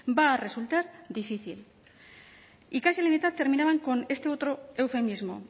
va a resultar difícil y casi la mitad terminaban con este otro eufemismo